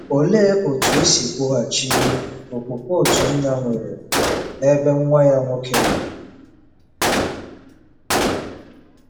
Olee otú e si kwụghachi okwukwe otu nna nwere n’ebe nwa ya nwoke nọ?